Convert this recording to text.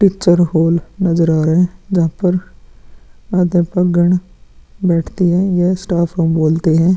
Picture hall नज़र आ रहा है जहाँ पर बैठती है। यह स्टाफ रूम बोलते है।